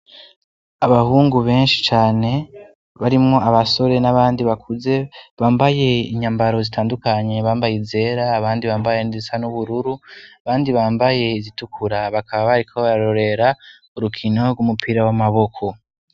abahungu benshi cane barimwo abasore n'abandi bakuze bambaye inyambaro zitandukanye bambaye izera abandi bambaye nizisa n'ubururu bandi bambaye izitukura bakaba bariko bararorera urukino rw'umupira w'amaboko